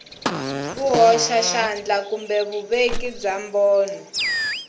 vuhoxaxandla kumbe vuveki bya mbono